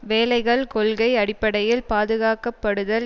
வேலைகள் கொள்கை அடிப்படையில் பாதுகாக்கப்படுதல்